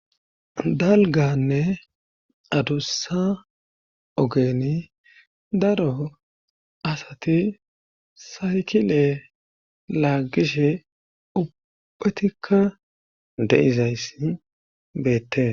Dalganne adussa ogeni daro asati saykile laagishe ubbatikka de7izayssi beette..